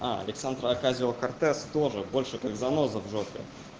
а александра окасио-кортес тоже больше как заноза в жопе